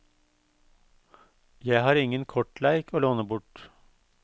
Jeg har ingen kortleik å låne bort.